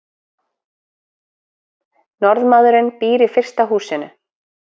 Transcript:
Norðmaðurinn býr í fyrsta húsinu.